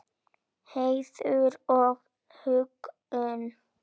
Heiður og huggun.